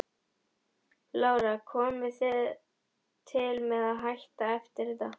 Lára: Komið þið til með að hætta eftir þetta?